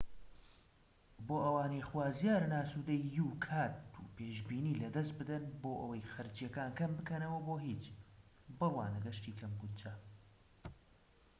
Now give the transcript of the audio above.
بۆ ئەوانەی خوازیارن ئاسودەیی و کات و پێشبینی لەدەست بدەن بۆ ئەوەی خەرجیەکان کەم بکەنەوە بۆ هیچ بڕوانە گەشتی کەم بوجە